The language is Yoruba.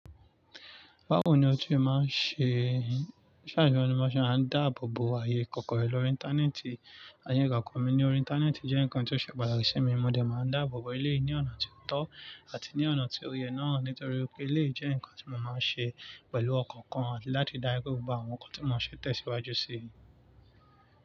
Báwo ni o ṣe máa ń ṣe, ó sà ní wọ́n ní bó ṣe máa ń a dáàbò bo ààyè kókó rẹ lórí íńtánẹ́ẹ̀tì. Ààyè ìgbàkan mi ní orí íńtánẹ́ẹ̀tì jẹ́ nǹkan tó ṣe pàtàkì sí mi, mo dẹ̀ máa ń dáàbò bo eléyìí ní ọ̀nà tó tọ́ àti ní ọ̀nà tó yẹ náà nítorí pé eléyìí jẹ́ ǹkan tí mo máa ń ṣe pẹ̀lú ọ̀kan kan àti láti dáa gbé gbogbo àwọn nǹkan tí mo ń ṣẹ̀ tẹ̀síwájú sí.